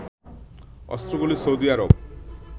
অস্ত্রগুলো Saudi Arab